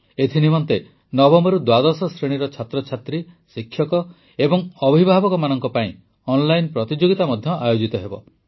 ଏଥି ନିମନ୍ତେ ନବମରୁ ଦ୍ୱାଦଶ ଶ୍ରେଣୀର ଛାତ୍ରଛାତ୍ରୀ ଶିକ୍ଷକ ଏବଂ ଅଭିଭାବକମାନଙ୍କ ପାଇଁ ଅନଲାଇନ୍ ପ୍ରତିଯୋଗିତା ମଧ୍ୟ ଆୟୋଜିତ ହେବ